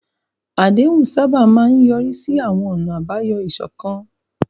Àdéhùn sábà máa ń yọrí sí àwọn ọ̀nà àbáyọ ìṣọ̀kan.